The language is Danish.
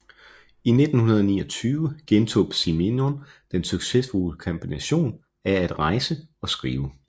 I 1929 genoptog Simenon den succesrige kombination af at rejse og skrive